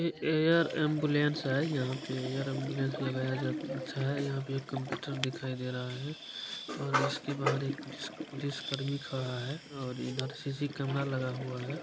ए-एयर ambulance है यहाँ पे एयर एम्बुलेंस लगाया अच्छा है । यहाँ पे कंप्युटर दिखाई दे रहा है और उसके बाद एक पुलिस पुलिस कर्मी खड़ा है और इधर सी_सी कैमरा लगा हुआ है ।